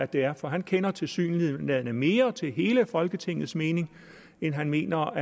det er for han kender tilsyneladende mere til hele folketingets mening end han mener